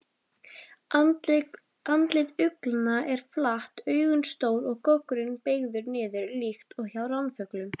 Andlit uglna er flatt, augun stór og goggurinn beygður niður líkt og hjá ránfuglum.